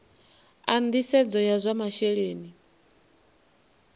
a nisedzo ya zwa masheleni